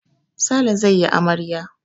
Sale zai yi amarya.